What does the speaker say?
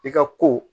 I ka ko